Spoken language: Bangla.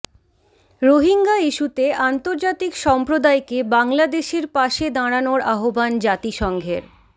রোহিঙ্গা ইস্যুতে আন্তর্জাতিক সম্প্রদায়কে বাংলাদেশের পাশে দাঁড়ানোর আহ্বান জাতিসংঘের